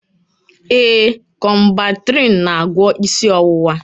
Ee, Kọmbantrịịn n'agwọ isi ọwụwa